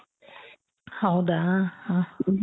ಹೌದಾ ಹ ಹ